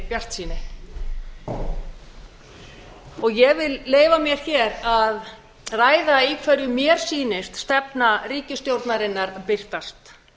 bjartsýni ég vil leyfa mér hér að ræða í hverju mér sýnist stefna ríkisstjórnarinnar birtast